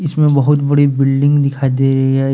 बहोत बड़ी बिल्डिंग दिखाई दे रही है।